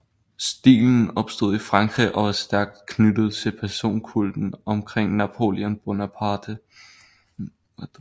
Stilen opstod i Frankrig og var stærkt knyttet til personkulten omkring Napoléon Bonaparte